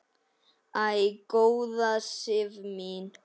Æ, góða Sif mín!